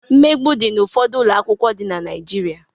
Mmegbu di n'ụfọdụ ụlọ akwụkwọ dị na Naịjirịa.